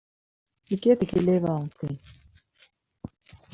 Ég get ekki lifað án þín.